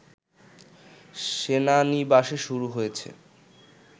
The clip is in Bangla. সেনানিবাসে শুরু হয়েছে